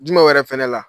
Jumɛn yɛrɛ fɛnɛ la